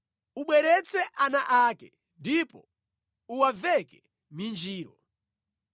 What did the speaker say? Ubweretse ana ake ndipo uwaveke minjiro.